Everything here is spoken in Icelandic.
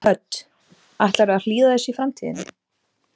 Hödd: Ætlarðu að hlýða þessu í framtíðinni?